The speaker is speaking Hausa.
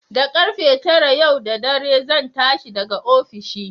Da ƙarfe tara yau da dare zan tashi daga ofishi.